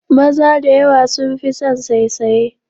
Maza da yawa sun fi san saisaye